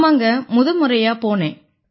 ஆமாங்க முத முறையா போனேன்